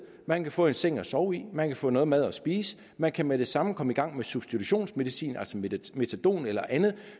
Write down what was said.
man kan få en seng at sove i man kan få noget mad at spise man kan med det samme komme i gang med substitutionsmedicin altså metadon eller andet